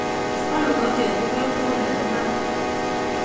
kwam ikokyet ikwek tugul en ibar.